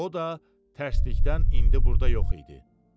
O da tərsdlikdən indi burda yox idi.